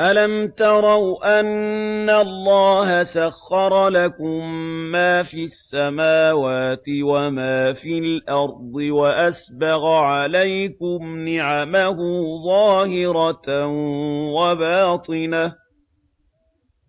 أَلَمْ تَرَوْا أَنَّ اللَّهَ سَخَّرَ لَكُم مَّا فِي السَّمَاوَاتِ وَمَا فِي الْأَرْضِ وَأَسْبَغَ عَلَيْكُمْ نِعَمَهُ ظَاهِرَةً وَبَاطِنَةً ۗ